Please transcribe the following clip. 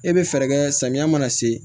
E bɛ fɛɛrɛ kɛ samiya mana se